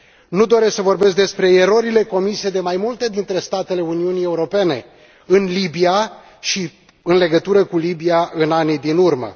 Nu doresc să vorbesc despre erorile comise de mai multe dintre statele Uniunii Europene în Libia și în legătură cu Libia în anii din urmă.